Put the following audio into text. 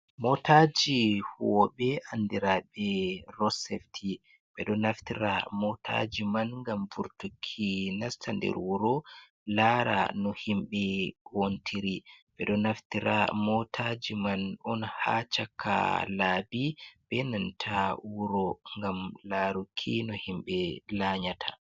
Motaji huwoɓe andiraɓe ross safti ɓeɗo naftira motaji man ngam burtuki nasta nder wuro lara no himɓɓe wontiri ɓeɗo naftira motaji man on ha chaka labi, benanta wuro gam laruki no himɓɓe lanyata.